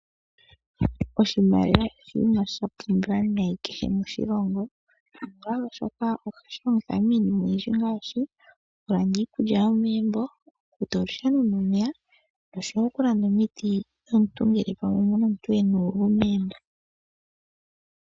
Oshimaliwa oshinima shapumbiwa nayi kehe moshilongo, oshoka ohashi longithwa miinima oyindji ngaashi, okulanda iikulya yomegumbo, oku futa olusheno nomeya, noshowo okulanda omiti ngele omuna omuntu ena uuvu megumbo.